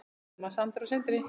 Selma, Sandra og Sindri.